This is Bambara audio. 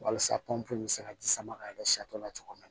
Walasa pɔnpe bɛ se ka ji sama ka kɛ safu la cogoya min na